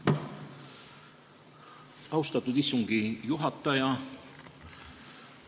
Austatud istungi juhataja!